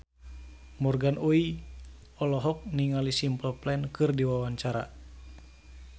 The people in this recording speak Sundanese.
Morgan Oey olohok ningali Simple Plan keur diwawancara